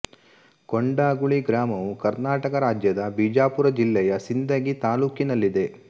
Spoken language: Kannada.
ಕೊಂಡಗುಳಿ ಗ್ರಾಮವು ಕರ್ನಾಟಕ ರಾಜ್ಯದ ಬಿಜಾಪುರ ಜಿಲ್ಲೆಯ ಸಿಂದಗಿ ತಾಲ್ಲೂಕಿನಲ್ಲಿದೆ